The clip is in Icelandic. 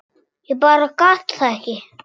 Ég bara gat það ekki.